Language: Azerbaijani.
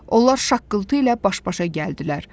Onlar şaqqıltı ilə baş-başa gəldilər.